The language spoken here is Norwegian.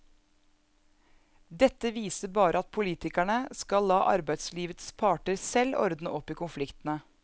Dette viser bare at politikerne skal la arbeidslivets parter selv ordne opp i konfliktene.